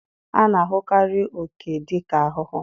A na-ahụkarị oke dị ka ahụhụ.